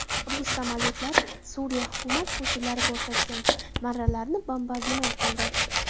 Rus samolyotlari Suriya hukumat qo‘shinlari ko‘rsatgan marralarni bombardimon qildi.